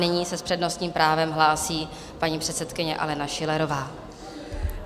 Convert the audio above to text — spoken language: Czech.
Nyní se s přednostním právem hlásí paní předsedkyně Alena Schillerová.